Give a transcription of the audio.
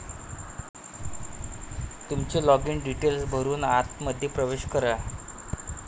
तुमचे login details भरून आतमध्ये प्रवेश करा